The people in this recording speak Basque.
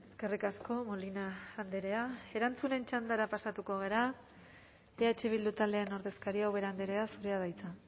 eskerrik asko molina andrea erantzunen txandara pasatuko gara eh bildu taldearen ordezkaria ubera andrea zurea da hitza